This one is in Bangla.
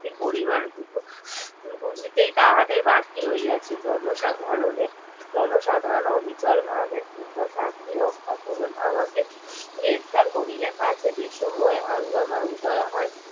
শক্তির পরিমান বুঝিতেই তাহাদের বাকি রইয়াছে জনসাধারণের জনসাধারণ অবিকল ভাবে শাস্তি রক্ষা করুন আমাকে গ্রেফতার করিলে তাতে দেশময় হাঙ্গামা উদয় হয়